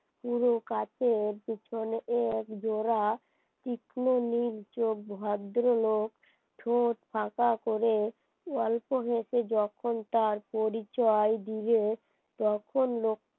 পুরো কাছে এর পিছনে একজোড়া তীক্ষ্ণীর যোগ ভদ্রলোক ঠোঁট ফাঁকা করে গল্প হয়েছে যখন তার পরিচয় দিলে তখন